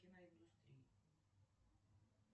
киноиндустрии